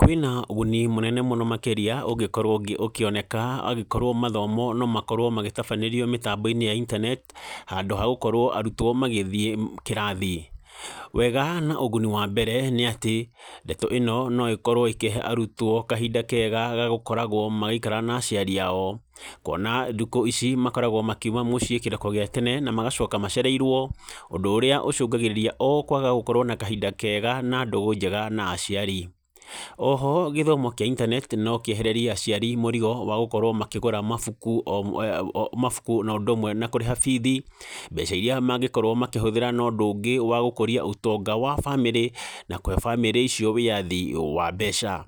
Kwĩna ũguni mũnene mũno makĩria ũngĩkorwo akĩoneka angĩkorwo mathomo no makorwo magĩtabanĩrio mĩtambo-inĩ ya intaneti, handũ hagũkorwo arutwo magĩthiĩ kĩrathi, wega na ũguni wa mbere nĩ atĩ, ndeto ĩno no ĩkorwo ĩkĩhe arutwo kahinda kega gagukoragwo magĩikara na aciari ao, kuona ndukũ ici, makoragwo makiuma mũciĩ kĩroko gĩa tene, na magacoka macereirwo, ũndũ ũrĩa ũcũngagĩrĩria o kwaga gũkorwo na kahinda kega, na ndũgũ njega na aciari, oho gĩthomo kĩa intaneti no kĩehererie aciari mũrigo wagũkorwo makĩgũra mabuku, o mwe e mabuku, nondũ ũmwe na kũrĩha bithi, mbeca iria mangĩkorwo makĩhũthĩra na ũndũ ũngĩ wa gũkũria ũtonga wa bamĩrĩ, na kũhe bamĩrĩ icio wĩyathi wa mbeca,